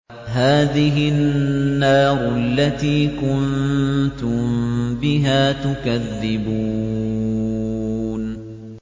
هَٰذِهِ النَّارُ الَّتِي كُنتُم بِهَا تُكَذِّبُونَ